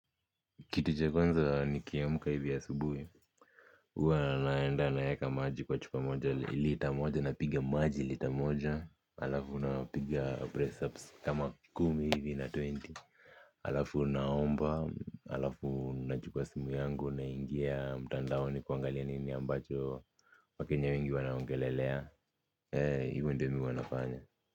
Kitu cha kwanza nikiamka hivi asubuhi. Huwa naenda naweka maji kwa chupa moja lita moja napiga maji lita moja. Alafu na piga pressups kama kumi hivi na twenty. Alafu naomba, alafu nachuka simu yangu naingia mtandaoni kuangalia nini ambacho wakenya wengi wanaongelelea. Eee, hivo ndo mimi huwa nafanya.